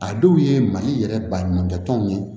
A dɔw ye mali yɛrɛ baɲumankɛ tɔnw ye